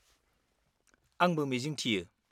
आंबो मिजिं थियो।